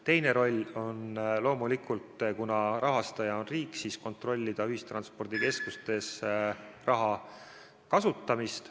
Teine roll on loomulikult, kuna rahastaja on riik, kontrollida ühistranspordikeskustes raha kasutamist.